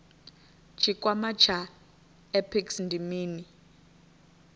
tshikwama tsha apex ndi mini